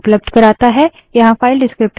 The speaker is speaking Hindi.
यहाँ file descriptor विवरणक शून्य 0 है